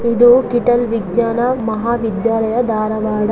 ಇದು ಕಿಟೆಲ್ ವಿಜ್ಞಾನ ಮಹಾವಿದ್ಯಾಲಯದ ಧಾರವಾಡ.